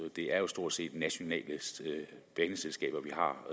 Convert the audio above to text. det er jo stort set nationale baneselskaber